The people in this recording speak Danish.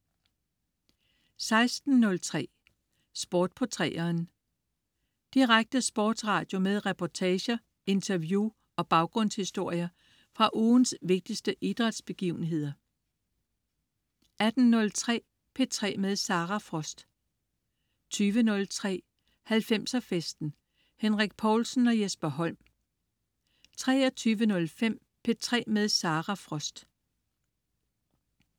16.03 Sport på 3'eren. Direkte sportsradio med reportager, interview og baggrundshistorier fra ugens vigtigste idrætsbegivenheder 18.03 P3 med Sara Frost 20.03 90'er festen. Henrik Povlsen og Jesper Holm 23.05 P3 med Sara Frost